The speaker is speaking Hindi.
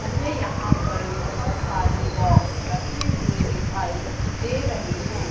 मुझे यहां पर बोहोत सारे बॉक्स रखे हुए दिखाई दे रहे हैं।